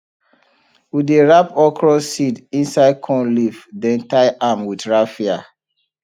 we dey wrap okra seed inside corn leaf then tie am with raffia